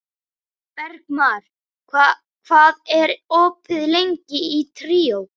Bergmar, hvað er opið lengi í Tríó?